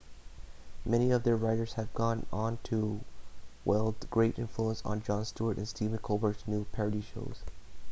many of their writers have gone on to wield great influence on jon stewart and stephen colbert's news parody shows